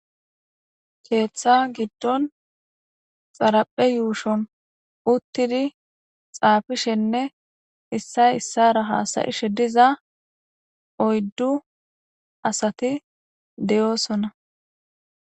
Keeththa giddon xaraphe yuushon uttidi xaafishenne issay issara haasayishe diza oyddu asati deyoosona.